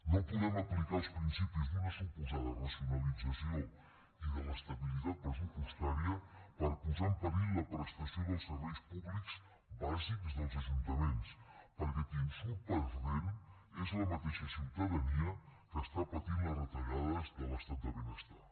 no podem aplicar els principis d’una suposada racionalització i de l’estabilitat pressupostària per posar en perill la prestació dels serveis públics bàsics del ajuntaments perquè qui en surt perdent és la mateixa ciutadania que està patint les retallades de l’estat de benestar